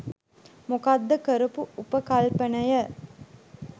මොකක්ද කරපු උපකල්පනය